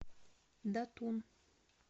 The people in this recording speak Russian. датун